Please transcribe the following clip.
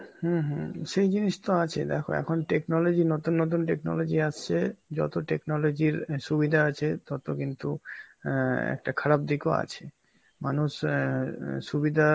হম হম এই জিনিস তো আছে, দেখো এখন technology~ নতুন নতুন technology আসছে, যত technology র আ সুবিধা আছে তত কিন্তু অ্যাঁ একটা খারাপ দিকও আছে. মানুষ অ্যাঁ আঁ সুবিধা